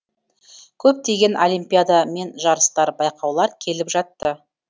көптеген олимпиада мен жарыстар байқаулар келіп жатты